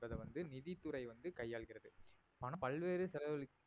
என்பதை வந்து நிதித்துறை வந்து கையாளுகிறது பல்வேறு